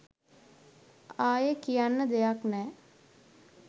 අයෙ කියන්න දෙයක් නෑ